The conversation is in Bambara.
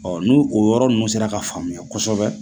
n'o o yɔrɔ ninnu sera ka faamuya kosɛbɛ